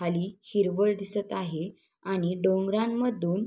खाली हिरवळ दिसत आहे आणि डोंगरांमधून--